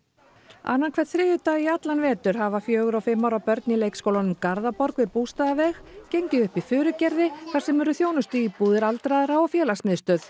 annan hvern þriðjudag í allan vetur hafa fjögurra og fimm ára börn á leikskólanum Garðaborg við Bústaðaveg gengið upp í Furugerði þar sem eru þjónustuíbúðir aldraðra og félagsmiðstöð